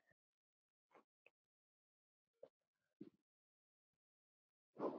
Ljóðið gladdi.